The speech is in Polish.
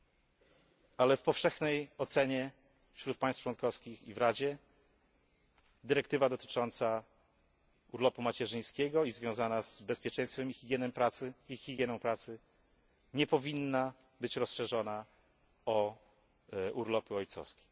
Jednak w powszechnej ocenie wśród państw członkowskich i w Radzie dyrektywa dotycząca urlopu macierzyńskiego i związana z bezpieczeństwem i higieną pracy nie powinna być rozszerzona o urlopy ojcowskie.